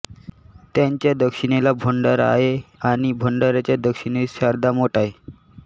त्यांच्या दक्षिणेला भंडारा आहे आणि भंडाराच्या दक्षिणेस शारदामठ आहे